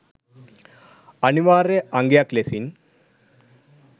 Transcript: අනිවාර්ය අංගයක් ලෙසින්